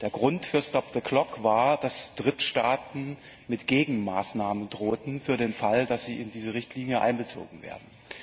Der Grund für stop the clock war, dass Drittstaaten mit Gegenmaßnahmen drohten für den Fall, dass sie in diese Richtlinie einbezogen werden.